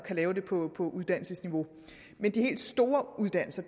lave det på på uddannelsesniveau men de helt store uddannelser